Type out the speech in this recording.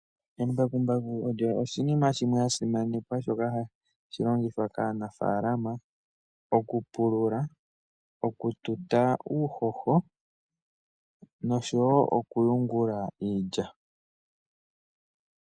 Embakumbaku olyo oshinima shimwe shasimanekwa shoka hashi longithwa kaanafalaama okupulula, okututa uuhoho noshowo okuyungula iilya.